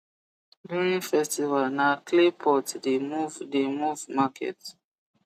during festival na clay pot the move the move market